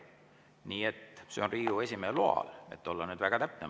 Nii et see on lubatud Riigikogu esimehe loal, et olla väga täpne.